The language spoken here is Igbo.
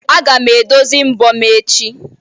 Aga m edozi mbọ m echi.